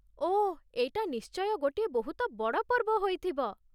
ଓଃ, ଏଇଟା ନିଶ୍ଚୟ ଗୋଟିଏ ବହୁତ ବଡ଼ ପର୍ବ ହୋଇଥିବ ।